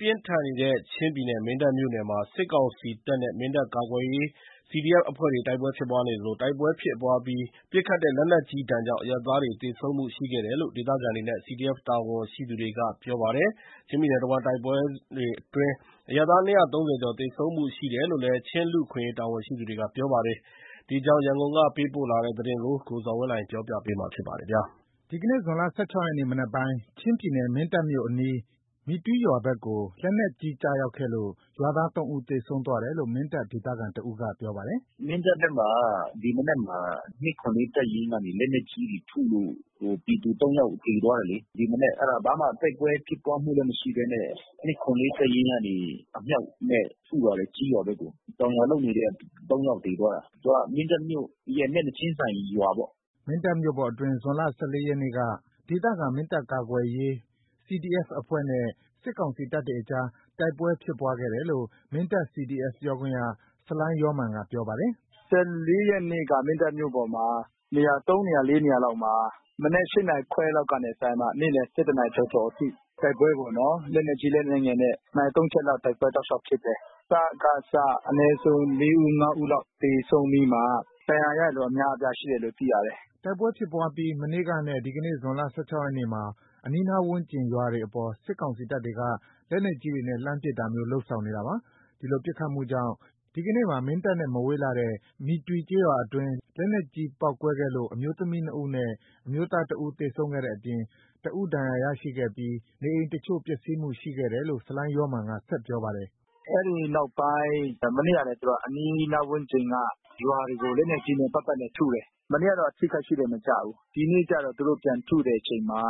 ပြင်းထန်နေတဲ့ ချင်းပြည်နယ်မင်းတပ်မြို့နယ်မှာ စစ်ကောင်စီတပ်နဲ့ မင်းတပ်ကာကွယ်ရေးCDFအဖွဲ့တွေနဲ့ တိုက်ပွဲဖြစ်ပွါးနေသလို တိုက်ပွဲဖြစ်ပွါးအပြီး ပစ်ခတ်တဲ့ လက်နက်ကြီးဒဏ်ကြောင့် အရပ်သားတွေ သေဆုံးမှုရှိခဲ့တယ်လို့ ဒေသခံတွေနဲ့ CDF တာဝန်ရှိသူတွေက ပြောပါတယ်။ ချင်းပြည်နယ်တဝှမ်း တိုက်ပွဲစဉ်အတွင်း အရပ်သား ကျော် သေဆုံးမှုရှိတယ်လို့လဲ ချင်းလူ့အခွင့်အရေး တာဝန်ရှိသူတွေက ပြောပါတယ်။ ဒီအကြောင်းရန်ကုန်ကပေးပို့တဲ့သတင်းကို ကိုဇော်ဝင်းလှိုင်က တင်ပြပေးထားပါတယ်။ ဒီနေ့ဇွန်လ ရက်နေ့မနက်ပိုင်း ချင်းပြည်နယ်မင်းတပ်မြို့အနီး မီတွီရွာဘက်ကို လက်နက်ကြီးကျရောက်ခဲ့လို့ ရွာသား ဦး သေဆုံးသွားတယ်လို့ မင်းတပ်ဒေသခံတဦးက ပြောပါတယ်။ “မင်းတပ်ဘက်မှာ ဒီမနက်မှာ တပ်ရင်းကနေလက်နက်ကြီးတွေထုလို့ ပြည်သူ ယောက်သေသွား တယ် လေ။ ဒီမနက် ဘာမှတိုက်ပွဲဖြစ်ပွါးမှုမရှိဘဲနဲ့ တပ်ရင်းကနေ အမြောက်နဲ့ထု လာတယ်ကျေးရွာဘက်ကို။ တောင်ယာလုပ်နေတဲ့ ယောက် သေသွားတာ။ သူက မင်းတပ်မြို့ရဲ့မျက်နှာချင်း ဆိုင်ရွာပေါ့။ ’’ ချင်းပြည်နယ် မင်းတပ်မြို့ပေါ်အတွင်း ဇွန်လ ရက်က ဒေသခံ မင်းတပ်ကာကွယ်ရေး CDF အဖွဲ့နဲ့ စစ်ကောင်စီတပ်တွေအကြား တိုက်ပွဲဖြစ်ပွါးခဲ့တယ်လို့ မင်းတပ်CDFပြောခွင့်ရ ဆလိုင်းယောမာန်ကပြောပါတယ်။ ရက်နေ့က မင်းတပ်မြို့ပေါ်မှာ နေရာ နေရာ နေရာလောက်မှာ မနက် နာရီခွဲကနေစပြီးမှ နေ့လယ် နာရီကျော်ကျော်အထိ တိုက်ပွဲပေါ့နော်။ လက်နက်ကြီးလက်နက်ငယ်နဲ့ နာရီ ချက်လောက်တိုက်ပွဲဖြစ်တယ်။ စကစ အနည်းဆုံးလေးဦး ငါးဦးလောက် သေဆုံးပြီးမှ ဒဏ်ရာရရှိသူအများအပြားရှိတယ်လို့သိရတယ်။’’ တိုက်ပွဲဖြစ်ပွါးအပြီး မနေ့ကနဲ့ဒီနေ့ဇွန်လ ရက်နေ့မှာ အနီးနားဝန်းကျင်ရွာတွေအပေါ် စစ်ကောင်စီတပ်တွေက လက်နက်ကြီးတွေနဲ့ လှမ်းပစ်တာမျိုး လုပ်ဆောင်နေတာပါ။ ဒီလိုပစ်ခတ်မှုကြောင့် ဒီကနေ့မှာ မင်းတပ်မြို့နဲ့မဝေးလှတဲ့ မီတွီကျေးရွာအတွင်း လက်နက်ကြီးပေါက်ကွဲခဲ့လို့ အမျိုးသမီးနှစ်ဦးနဲ့ အမျိုးသားတဦးသေဆုံးခဲ့တဲ့အပြင် တဦးဒဏ်ရာ ရရှိခဲ့ပြီး နေအိမ်တချို့ပျက်စီးမှုရှိခဲ့တယ်လို့ ဆလိုင်း ယောမာန်က ဆက်ပြောပါတယ်။ “အဲဒီနောက်ပိုင်း မနေ့က အဲဒီအနီးနားဝန်းကျင်က ရွာတွေကို လက်နက်ကြီးတွေနဲ့ပတ်ပတ်လည်ထုတယ်။ မနေ့ကတော့ အထိခိုက်ရှိတယ် မကျဘူး။ ဒီနေ့ကျတော့ သူတို့ပြန်ထုတဲ့အချိန်မှာ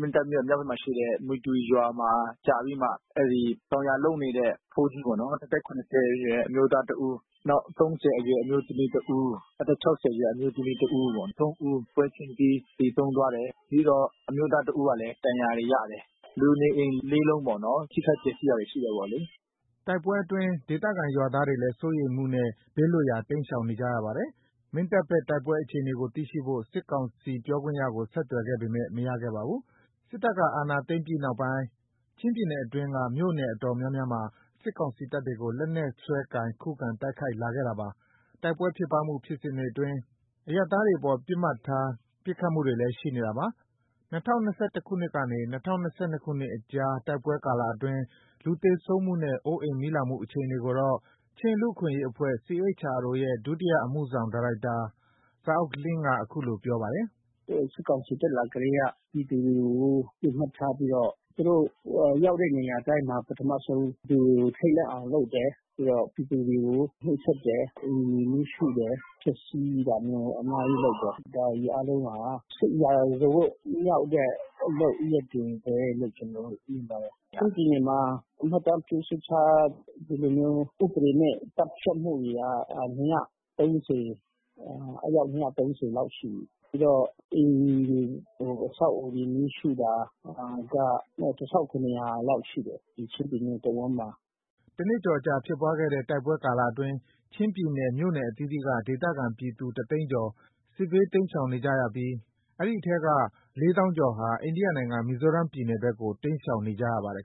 မင်းတပ်မြို့မြောက်ဘက်မှာရှိတဲ့ မီတွီရွာမှာကျတယ်။ အဲဒီတောင်ယာလုပ်နေတဲ့ ’အဖိုးကြီးပေါ့နော် အသက် အရွယ် အမျိုးသားတဦး နောက် အရွယ် အမျိုးသမီးတဦး။ အသက် အရွယ် အမျိုးသမီးတဦးပေါ့။ ဦးပွဲချင်းပြီး သေဆုံးသွားတယ်။ ပြီးတော့အမျိုးသားတဦးကလည်း ဒဏ်ရာတွေရတယ်။ လူနေအိမ် လုံးပေါ့နော်။ ထိခိုက်ပျက်စီးတာတွေ ရှိတယ်ပေါ့လေ။” တိုက်ပွဲအတွင်း ဒေသခံရွာသားတွေလဲ စိုးရိမ်မှုနဲ့ဘေးလွတ်ရာတိမ်းရှောင်နေကြရပါတယ်။ မင်းတပ်ဘက်တိုက်ပွဲ အခြေအနေကိုသိရှိဖို့ စစ်ကောင်စိပြောခွင့်ရကို ဆက်သွယ်ခဲ့ပေမဲ့ မရခဲ့ပါဘူး။ စစ်တပ်ကနေ အာဏာသိမ်းပြီး နောက်ပိုင်း ချင်းပြည်နယ်အတွင်းက မြို့နယ်တော်တော်များများမှာ စစ်ကောင်စီတပ်တွေကို လက်နက်စွဲကိုင် ခုခံတိုက်ခိုက်လာခဲ့ပါတယ်။ တိုက်ပွဲဖြစ်ပွါးမှု ဖြစ်စဉ်အတွင်း အရပ်သားတွေအပေါ် ပစ်မှတ်ထား ပစ်ခတ်မှုတွေလဲ ရှိနေတာပါ။ ၂၀၂၁ခုနှစ်ကနေ ၂၀၂၂ ခုနှစ်အတွင်း တိုက်ပွဲကာလအတွင်း လူသေဆုံးမှုနဲ့အိုးအိမ်မီးလောင်မှု အခြေအနေကိုတော့ ချင်းလူ့အခွင့်အရေးအဖွဲ့ ရဲ့ ဒုတိယအမှုဆောင် ဒါရိုက်တာ Za Uk Ling က အခုလိုပြော ပါတယ်။ “စစ်ကောင်စီတက်လာကတည်းကပြည်သူတွေကိုပစ်မှတ်ထားပြီးမှ သူတို့ရောက်တဲ့နေရာတိုင်းမှာ ပထမဆုံး ပြည်သူတွေကို ထိတ်လန့်အောင်လုပ်တယ်။ ပြီးတော့ ပြည်သူတွေကို နှိပ်စက်တယ်။ အိမ်တွေကိုမီးရှို့တယ်။ ဖျက်စီးတာမျိုး အများကြီးလုပ်တယ်။ ဒါတွေအားလုံးဟာ စစ်ရာဇဝတ်မှုမြောက်တဲ့ လုပ်ရပ်တွေဘဲလို့ ကျွန်တော်တို့မြင်တယ်။ ချင်းပြည်နယ်မှာ မှတ်တမ်းပြုစုထား ဒီလိုမျိုး ဥပဒေမဲ့ သတ်ဖြတ်မှုတွေက အယောက် လောက်ရှိပြီး။ ပြီးတော့အိမ်တွေ အဆောက်အဦတွေမီးရှို့တာ လောက်ရှိတယ်။ ဒီချင်းပြည်နယ်တဝှမ်းမှာ။ ’’ တနှစ်ကျော်အကြာဖြစ်ပွါးတဲ့တိုက်ပွဲကာလအတွင်း ချင်းပြည်နယ်မြို့နယ်အသီးသီးက ဒေသခံပြည်သူ တသိန်းကျော် စစ်ဘေး တိမ်းရှာင်နေကြရဲပီး အဲဒီအထဲက ကျော်ဟာ အိန္ဒိယ နိုင်ငံမီဇိုရမ်ပြည်နယ်ဘက်ကို တိမ်းရှောင် နေကြရပါတယ်